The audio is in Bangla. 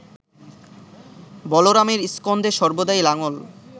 বলরামের স্কন্ধে সর্বদাই লাঙ্গল